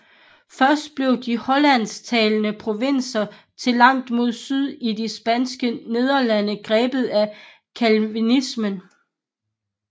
Først blev de hollandsktalende provinser til langt mod syd i de Spanske Nederlande grebet af Calvinismen